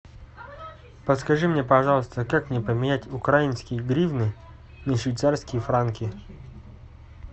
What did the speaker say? подскажи мне пожалуйста как мне поменять украинские гривны на швейцарские франки